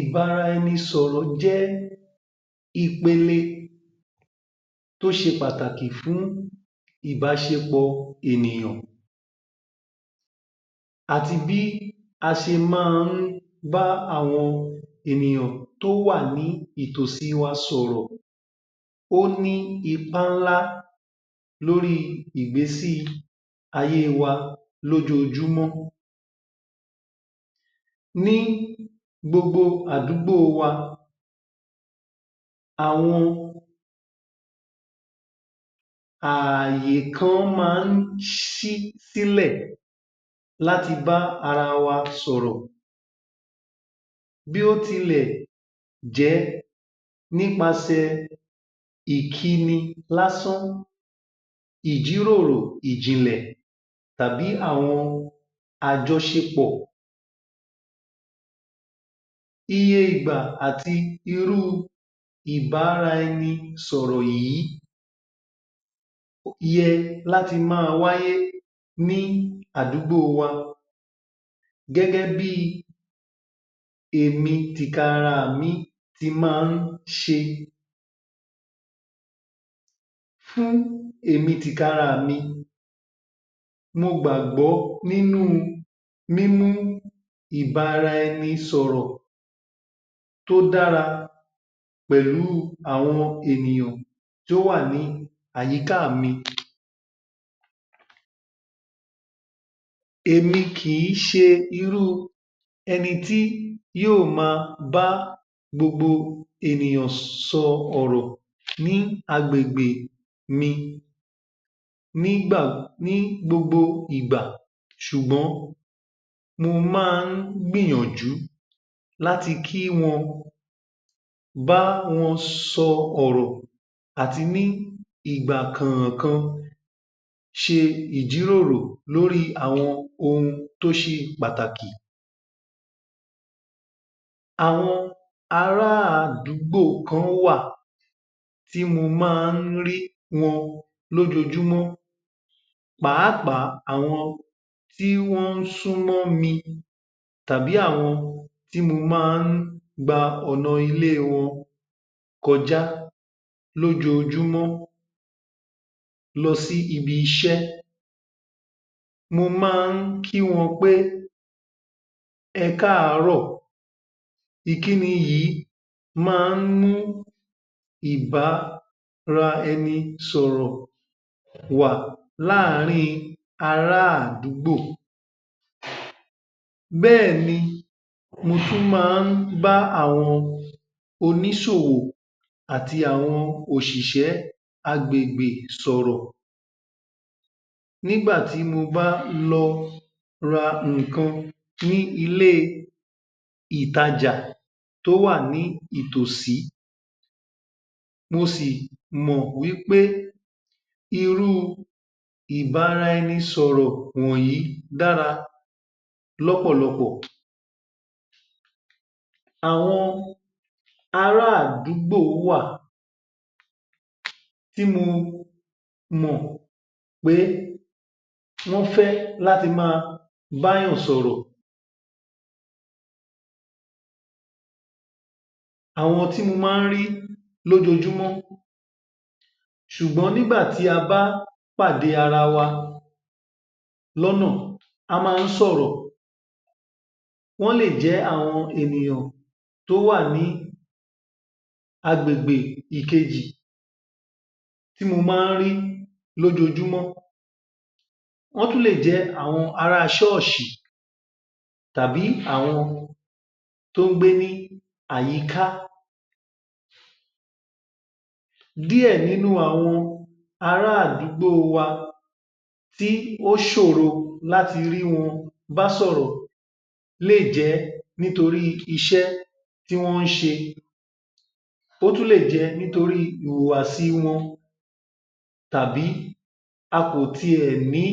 Ìbáraẹnisọ̀rọ jẹ́ ipele tó ṣe pàtàkì fún ìbáṣepọ̀ ènìyàn àti bí a ṣe máa ń bá àwọn ènìyàn tó wà ní ìtòsí wa sọ̀rọ̀. Ó ní ipá ńlà lórí ìgbésí-ayé wa lójoojúmọ́, ní gbogbo àdúgbò wa àwọn àyè kan ma ń sí sílè láti bá ara wa sọ̀rọ̀, bí ó tilẹ̀ jẹ́ nípasè ìkíni lásán, ìjíròrò ìjìnlè tàbí àwọn ájọṣẹpọ̀. Iye ìgbà àti irú ìbáraẹnisọ̀rọ̀ yìí ye láti ma wáyé ní àdúgbò wa, gẹ́gẹ́ bí èmi tìkara mi ti máa ń ṣe, fún èmi tìkalára, mo gbàgbọ́ nínú mímú ìbáraẹnisọ̀rọ̀ tó dára pẹ̀lú àwọn ènìyàn tó wà ní àyíká mi. Èmi kì í ṣe irú ẹni tí yóò bá gbogbo ènìyàn sọ̀rọ̀ ní agbègbè mi ní gba, ní gbogbo ìgbà, sùgbọ́n mo máa ń gbìyànjú láti kí wọn bá wọn sọ̀rọ̀ àti ní ìgbà kànkan ṣe ìjíròrò lórí àwọn ohun tó ṣe pàtàkì. Àwọn ará àdúgbò kan wà tí mo má rí wọn lójojúmọ́, pàápàá àwọn tí wọn súnmó mi tàbí àwọn tí mo má gba ọ̀nà ilé wọn kọjá lójojúmọ́ lọ sí ibi- iṣẹ́, mo má kí wọn pé, ẹ káàárọ̀, ìkíni yìí máa ń mú ìbáraẹnisọ̀rọ̀ wá láàrín ara àdúgbò, bẹ́ẹ̀ni mo tún ma bá àwọn onísòwò àti àwọn òsìsẹ́ àgbègbè sọ̀rọ̀, nígbà tí mo bá lọ ra ìkan ní ilé ìtajà tó wà ní ìtòsí mò sì mọ̀ wí pé irú ìbáraẹnisọ̀rọ̀ dára lọ́pọ̀lọpọ̀. Àwọn ara àdúgbò wà tí mo mọ̀ pé wọ́n fẹ́ láti ma bá ènìyàn sọ̀rọ̀, àwọn tí mo má rí lójojúmọ́, sùgbọ́n nígbà tí a bá pàdé ara wa lọ́nà a má sọ̀rò, wọ́n lè jẹ́ àwọn ènìyàn tó wà ní agbègbè kejì tí mo máa ń rí lójojúmọ́ wọ́n tún lè jẹ́ àwọn ara sọ́ọ̀sì tí wọ́n gbé ní àyíká. Díẹ̀ nínú aàwọn ara àdúgbò wa tí ó sòro láti rí wọn básọ̀rọ̀ lé è jẹ́ nítoí iṣẹ́ tí wọ́n ṣe, ó ún lè jẹ́ nítorí ìhùwà sí wọn tàbí a kò ti ẹ̀ ní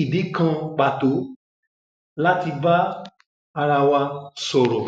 ìdí kan pàtó láti bá ara wa sọ̀rọ̀